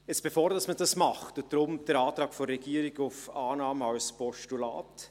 Jetzt bevor man das tut, und deshalb der Antrag der Regierung auf Annahme als Postulat: